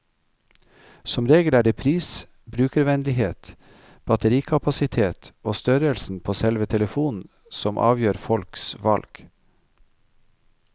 Som regel er det pris, brukervennlighet, batterikapasitet og størrelsen på selve telefonen som avgjør folks valg.